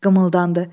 Qımıldandı.